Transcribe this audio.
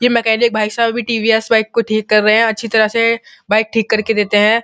ये मेकेनिक भाई साहब अभी टी.वी.एस. बाइक को ठीक कर रहे हैं अच्छी तरह से बाइक ठीक करके देते हैं।